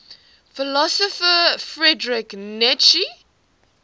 philosopher friedrich nietzsche